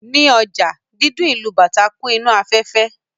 Ní ọjà, dídún ìlù bàtá kún inú afẹ́fẹ́